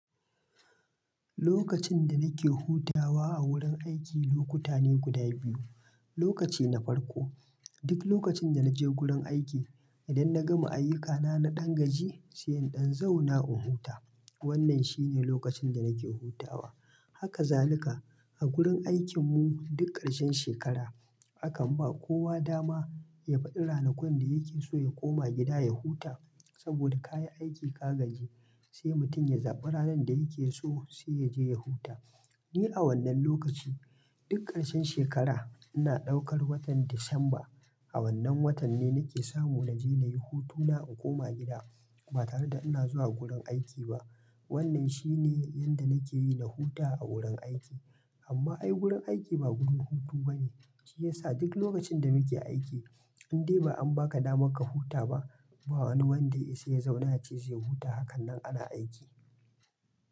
Lokacin da nake hutawa a wurin aiki lokuta ne guda biyu, lokaci na farko duk lokacin da naje gurin aiki idan na gama ayyukana na ɗan gaji sai in ɗan zauna in huta. Wannan shine lokacin da nake hutawa. Haka zalika a gurin aikinmu duk ƙarshen shekara, akan ba kowa dama yafaɗi ranakun da yake so ya koma gida ya huta, saboda ka yi aiki ka gaji sai mutum ya zaɓi ranar da yake so sai yaje ya huta. Ni a wannan lokaci duk ƙarshen shekara ina ɗaukar watan Disamba a wannan watan ne nake samu naje na yi hutuna in koma gida ba tare da ina zuwa gurin aiki ba. Wannan shine inda nakeyi na huta a wurin aiki, amma ai gurin aiki ba gurin hutu bane shiyasa duk lokacin da muke aiki in dai ba an baka damaka huta ba ba wani wanda ya isa ya zauna yace zai huta hakanan ana aiki.